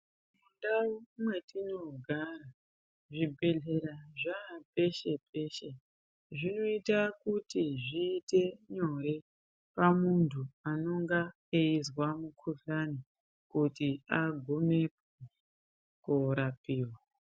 Mundau mwetinogara zvibhedhlera zvaa peshe peshe. Zvinoita kuti zviite nyore pamuntu anonga eizwa mukuhlani kuti agumepo korapiwa.